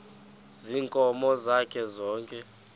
ziinkomo zakhe zonke